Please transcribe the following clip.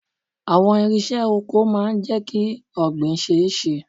Àwọn irinṣẹ́ oko máa jẹ kí ọ̀gbìn ṣe ẹ́ ṣe.